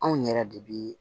Anw yɛrɛ de bi